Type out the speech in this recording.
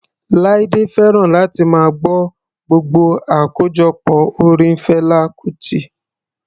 Laide fẹ́ràn láti máa gbọ́ gbogbo àkójọpọ̀ orin Fela Kuti.